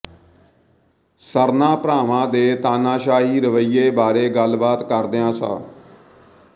ਸਰਨਾ ਭਰਾਵਾਂ ਦੇ ਤਾਨਾਸ਼ਾਹੀ ਰਵੱਈਏ ਬਾਰੇ ਗਲਬਾਤ ਕਰਦਿਆਂ ਸ